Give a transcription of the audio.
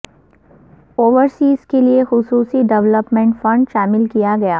overseas کے لئے خصوصی ڈیولپمنٹ فنڈ شامل کیا گیا